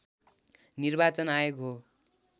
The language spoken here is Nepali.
निर्वाचन आयोग हो